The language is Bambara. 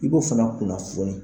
I b'o fana kunnafoni